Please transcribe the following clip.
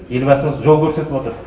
елбасы жол көрсетіп отыр